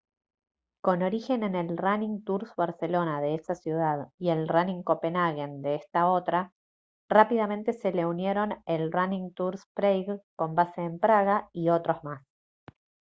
con origen en el running tours barcelona de esa ciudad y el running copenhagen de esta otra rápidamente se le unieron el running tours prague con base en praga y otros más